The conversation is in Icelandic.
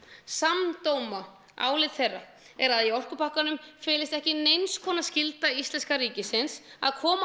samdóma álit þeirra er að í orkupakkanum felist ekki neins konar skylda íslenska ríkisins að koma